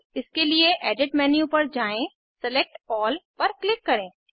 इसके लिए edit menu पर जाएँ सिलेक्ट अल्ल पर क्लिक करें